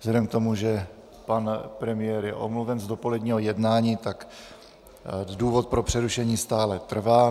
Vzhledem k tomu, že pan premiér je omluven z dopoledního jednání, tak důvod pro přerušení stále trvá.